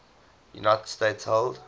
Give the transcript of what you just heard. united states held